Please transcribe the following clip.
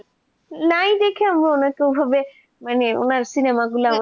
নাই দেখে আমরা সেই ভাবে উনার cinema গুলো